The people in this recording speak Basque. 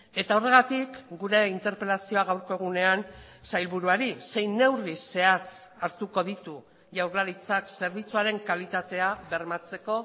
eta horregatik gure interpelazioa gaurko egunean sailburuari zein neurri zehatz hartuko ditu jaurlaritzak zerbitzuaren kalitatea bermatzeko